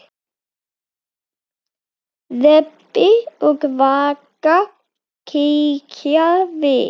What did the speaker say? Rebbi og Vaka kíkja við.